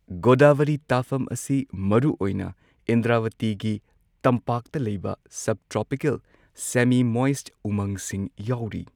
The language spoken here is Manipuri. ꯒꯣꯗꯥꯕꯔꯤ ꯇꯥꯐꯝ ꯑꯁꯤ ꯃꯔꯨꯑꯣꯏꯅ ꯏꯟꯗ꯭ꯔꯋꯇꯤꯒꯤ ꯇꯝꯄꯥꯛꯇ ꯂꯩꯕ ꯁꯕ ꯇ꯭ꯔꯣꯄꯤꯀꯦꯜ, ꯁꯦꯃꯤ ꯃꯣꯏꯁꯠ ꯎꯃꯪꯁꯤꯡ ꯌꯥꯎꯔꯤ꯫